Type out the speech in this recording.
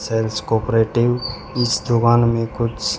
sales cooperative इस दुकान में कुछ--